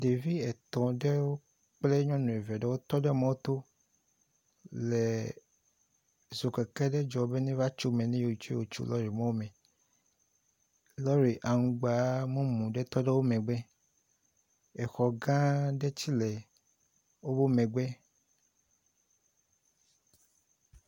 Ɖevi etɔ ɖewo kple nyɔnu eve ɖewo tɔ ɖe mɔto le zokeke ɖe dzɔm be neva tso me ne yewo tso lori mɔ me. Lori aŋgba mumu ɖe tɔ ɖe wo megbe. Exɔ gã ɖe tsɛ le wo megbe.